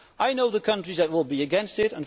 I know the countries that will be against it.